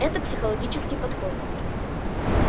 это психологический подход